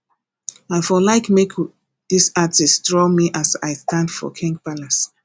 i for like make this artist draw me as i stand for king palace